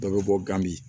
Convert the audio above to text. Dɔ bɛ bɔ gami